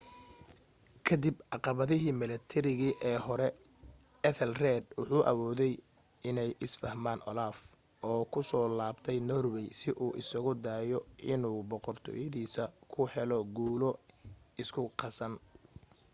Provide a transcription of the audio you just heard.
ka dib caqabadihii milatari ee hore ethelred wuxu awooday inay is fahmaan olaf oo ku soo laabtay norway si uu isugu dayo inuu boqortooyadiisa ku helo guulo isku qasan